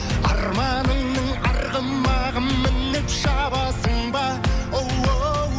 арманыңның арғымағын мініп шабасың ба оу